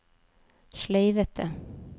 sleivete